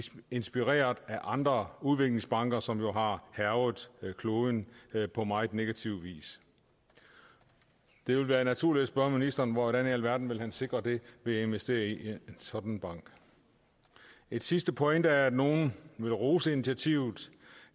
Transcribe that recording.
inspireret af andre udviklingsbanker som jo har hærget kloden på meget negativ vis det vil være naturligt at spørge ministeren hvordan i alverden han vil sikre det ved at investere i en sådan bank en sidste pointe er at nogle vil rose initiativet